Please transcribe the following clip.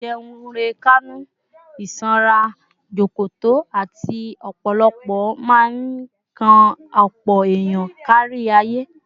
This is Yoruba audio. Àìjẹunrekánú, ìsanra jọ̀kọ̀tọ̀, àti ọpọlọ máa ń kan ọ̀pọ̀ èèyàn kárí ayé